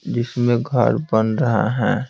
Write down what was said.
जिसमें घर बन रहा है।